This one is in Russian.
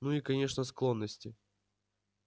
ну и конечно склонности